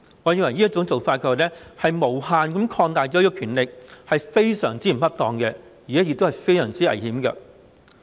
我認為這種做法是無限擴大這項權力，不僅非常不恰當，而且非常危險。